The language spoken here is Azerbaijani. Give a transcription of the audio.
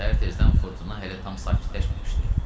Səhər tezdən fırtına hələ tam sakitləşməmişdi.